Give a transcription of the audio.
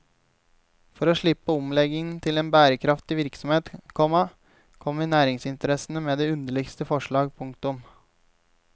For å slippe omleggingen til en bærekraftig virksomhet, komma kommer næringsinteressene med de underligste forslag. punktum